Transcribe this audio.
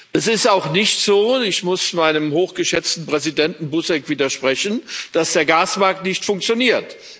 Es ist auch nicht so ich muss meinem hochgeschätzten Vorsitzenden Buzek widersprechen dass der Gasmarkt nicht funktioniert.